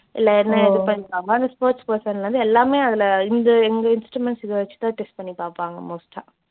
இல்ல என்ன எது பண்ணிருக்காங்க அந்த sports person லருந்து எல்லாமே அதுல இந்த எங்க instruments இதை வச்சு தான் test பண்ணி பார்ப்பாங்க most ஆ